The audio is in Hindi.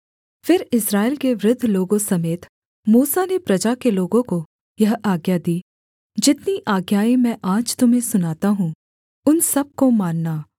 फिर इस्राएल के वृद्ध लोगों समेत मूसा ने प्रजा के लोगों को यह आज्ञा दी जितनी आज्ञाएँ मैं आज तुम्हें सुनाता हूँ उन सब को मानना